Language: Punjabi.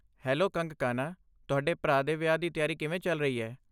ਹੈਲੋ ਕੰਗਕਾਨਾ! ਤੁਹਾਡੇ ਭਰਾ ਦੇ ਵਿਆਹ ਦੀ ਤਿਆਰੀ ਕਿਵੇਂ ਚੱਲ ਰਹੀ ਹੈ?